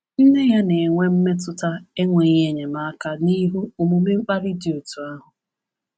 Nne ya na-enwe mmetụta enweghị enyemaka n’ihu omume mkparị dị otú ahụ.